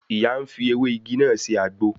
Ìyá ń fi ewé igi náà sè àgbo